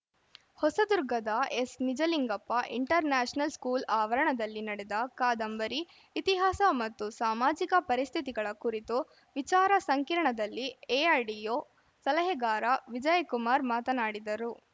ಹೊಸದುರ್ಗದ S Nijalingappa international school ಆವರಣದಲ್ಲಿ ನಡೆದ ಕಾದಂಬರಿ ಇತಿಹಾಸ ಮತ್ತು ಸಾಮಾಜಿಕ ಪರಿಸ್ಥಿತಿಗಳ ಕುರಿತು ವಿಚಾರ ಸಂಕಿರಣದಲ್ಲಿ ಎಐಡಿಒ ಸಲಹೆಗಾರ ವಿಜಯಕುಮಾರ್‌ ಮಾತನಾಡಿದರು